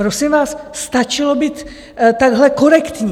Prosím vás, stačilo být takhle korektní.